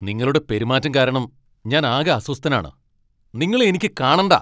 നിങ്ങളുടെ പെരുമാറ്റം കാരണം ഞാൻ ആകെ അസ്വസ്ഥനാണ്, നിങ്ങളെ എനിക്കു കാണണ്ട.